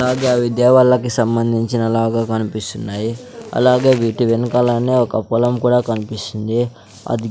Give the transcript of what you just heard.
తాజా విద్యా వాళ్ళకి సంబంధించిన లాగ కనిపిస్తున్నాయి అలాగే వీటి వెనకాలనే ఒక పొలం కూడా కన్పిస్తుంది అది--